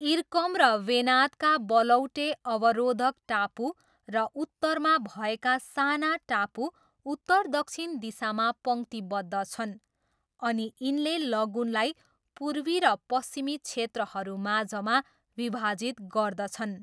इर्कम र वेनादका बलौटे अवरोधक टापु र उत्तरमा भएका साना टापु उत्तर दक्षिण दिशामा पङ्क्तिबद्ध छन् अनि यिनले लगुनलाई पूर्वी र पश्चिमी क्षेत्रहरूमाझमा विभाजित गर्दछन्।